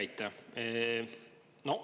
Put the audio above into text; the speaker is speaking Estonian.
Aitäh!